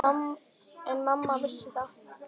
En mamma vissi það.